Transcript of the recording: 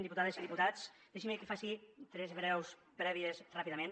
diputades i diputats deixin me que faci tres breus prèvies ràpidament